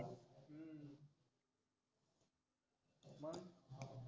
हम्म मग?